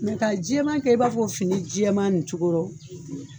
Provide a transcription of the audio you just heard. ka jɛɛman kɛ i b'a fɔ ko fini jɛɛman nin cogorɔ.